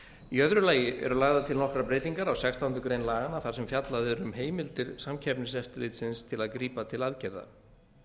í öðru lagi eru lagðar til nokkrar breytingar á sextándu grein laganna þar sem fjallað er um heimildir samkeppniseftirlitsins til að grípa til aðgerða